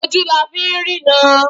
Ojú la fi ń rína